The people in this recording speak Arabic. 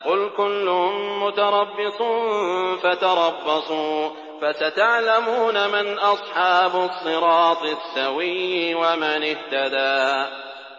قُلْ كُلٌّ مُّتَرَبِّصٌ فَتَرَبَّصُوا ۖ فَسَتَعْلَمُونَ مَنْ أَصْحَابُ الصِّرَاطِ السَّوِيِّ وَمَنِ اهْتَدَىٰ